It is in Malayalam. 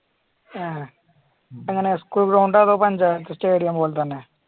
ആ എങ്ങനെ school ground ഒ അതോ പഞ്ചായത്ത് സ്റ്റേഡിയം പോലെ തന്നെയോ